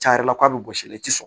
Can yɛrɛ la k'a bɛ gosi la i tɛ sɔn